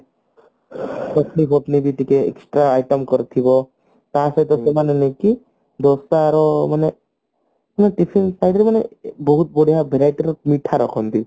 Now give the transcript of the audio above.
ତ item କରିଥିବ ତ ସହିତ ସେମାନେ ନୁହଁ କି ଦୋସାର ମାନେ tiffin type ର ମାନେ ବହୁତ ବଢିଆ verity ର ମିଠା ରଖନ୍ତି